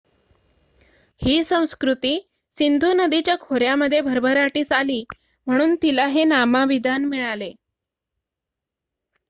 ही संस्कृती सिंधू नदीच्या खोऱ्यामध्ये भरभराटीस आली म्हणून तिला हे नामाभिमान मिळाले